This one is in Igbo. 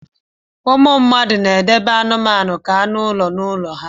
ụmụ mmadụ na-edobe anụmanụ ka anụ ụlọ n'ụlọ ha